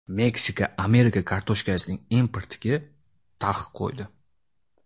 Meksika Amerika kartoshkasining importiga taqiq qo‘ydi.